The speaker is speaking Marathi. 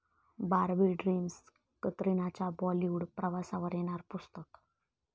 बार्बी ड्रिम्स', कतरिनाच्या बॉलिवूड प्रवासावर येणार पुस्तक